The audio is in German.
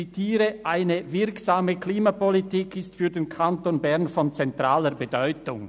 «Eine wirksame Klimapolitik ist für den Kanton Bern von zentraler Bedeutung.